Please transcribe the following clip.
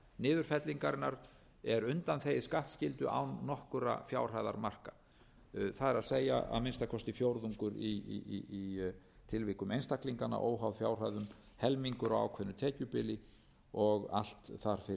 niðurfellingarinnar er undanþegið skattskyldu án nokkurra fjárhæðarmarka það er að minnsta kosti fjórðungur í tilvikum einstaklinganna óháð fjárhæðum helmingur á ákveðnu tekjubili og allt þar fyrir neðan